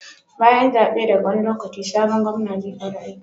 Bayan zabe daga wani lokaci sabon Gomna zai fara aiki?